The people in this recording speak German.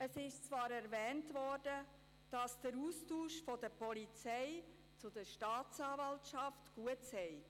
Es wird zwar erwähnt, dass der Austausch zwischen Polizei und Staatsanwaltschaft gut sei.